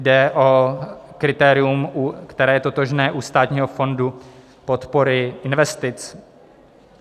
Jde o kritérium, které je totožné u Státního fondu podpory investic.